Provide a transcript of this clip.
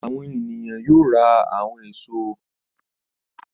Àwọn ènìyàn yóò ra àwọn èso.